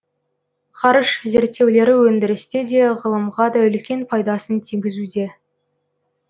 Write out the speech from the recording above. ғарыш зерттеулері өндірісте де ғылымға да үлкен пайдасын тигізуде